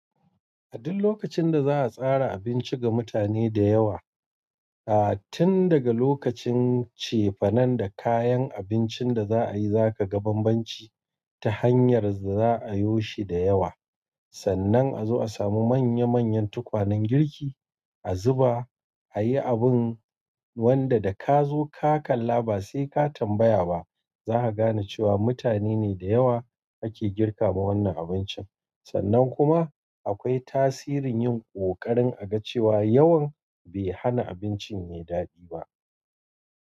A duk lokacin da za a tsara abinci ga mutane da yawa, aa tun daga lokacin cefanen da kayan abincin da za a yi zaka ga banbanci ta hanyar da za a yo shi da yawa. Sannan a zo a samu manya manyan tukwanen girki, a zuba, a yi abun wanda da ka zo ka kalla ba sai ka tambaya ba za ka gane cewa mutane ne da yawa ake girka ma wannan abincin. Sannan kuma akwai tasirin yin ƙoƙarin a ga cewa yawan bai hana abincin yayi daɗi ba.